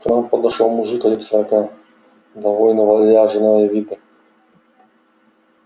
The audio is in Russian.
к нам подошёл мужик лет сорока довольно вальяжного вида